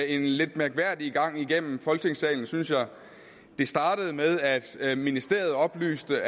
en lidt mærkværdig gang igennem folketingssalen synes jeg det startede med at at ministeriet oplyste